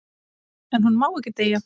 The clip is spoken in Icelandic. En hún má ekki deyja.